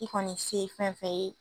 I kɔni se ye fɛn fɛn ye.